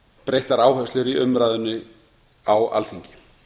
breyttar áherslur í umræðunni á alþingi